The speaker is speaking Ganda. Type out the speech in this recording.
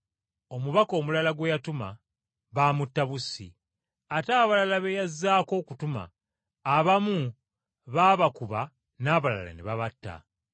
Omubaka omulala gwe yatuma baamutta bussi, ate abalala be yazzaako okutuma, abamu baabakuba n’abalala ne babatta.